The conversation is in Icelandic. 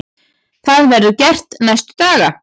Það verður gert næstu daga.